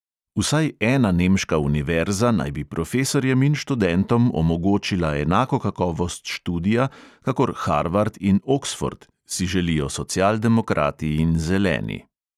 Vsaj ena nemška univerza naj bi profesorjem in študentom omogočila enako kakovost študija kakor harvard in oksford, si želijo socialdemokrati in zeleni.